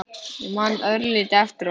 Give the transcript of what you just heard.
Ég man örlítið eftir honum.